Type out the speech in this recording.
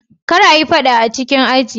Kar a yi fada a cikin aji.